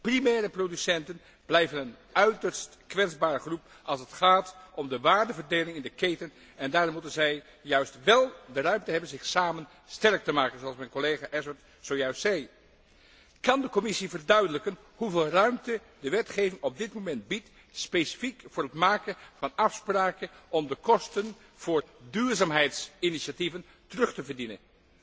Primaire producenten blijven een uiterst kwetsbare groep als het gaat om de waardeverdeling in de keten en daarom moeten zij juist wel de ruimte hebben zich samen sterk te maken, zoals mijn collega Ashworth zojuist zei. Kan de Commissie verduidelijken hoeveel ruimte de wetgeving op dit moment biedt, specifiek voor het maken van afspraken om de kosten voor duurzaamheidsinitiatieven terug te verdienen?